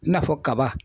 I n'a fɔ kaba